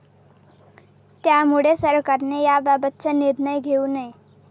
त्यामुळे सरकारने याबाबतचा निर्णय घेऊ नये.